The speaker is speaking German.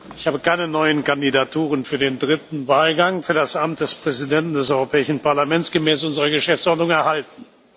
Ich habe keine neuen Kandidaturen für den dritten Wahlgang für das Amt des Präsidenten des Europäischen Parlaments gemäß unserer Geschäftsordnung erhalten.